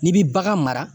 N'i bi bagan mara